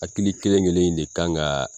Hakili kelen kelen in de kan ka